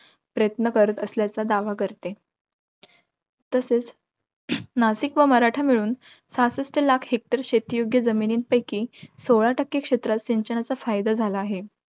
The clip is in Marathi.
प्रयत्न करीत असल्याचा दावा करते. तसेच नासिक व मराठा मिळून सहासष्ठ लाख hector शेतीयोग्य जमिनींपैकी, सोळा टक्के क्षेत्रास सिंचनाचा फायदा झाला आहे.